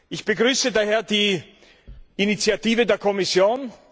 Ich begrüße daher die Initiative der Kommission.